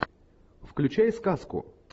включай сказку